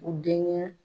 U denkɛ